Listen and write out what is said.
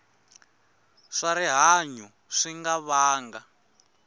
swa rihanyu swi nga vanga